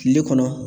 Kile kɔnɔ